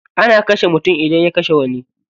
Ana kashe mutum idan ya kashe wani.